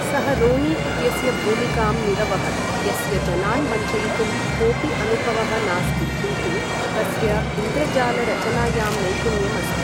सः रोनी इत्यस्य भूमिकां निरवहत्, यस्य जनान् वञ्चयितुं कोपि अनुभवः नास्ति किन्तु तस्य इन्द्रजालरचनायां नैपुण्यम् अस्ति।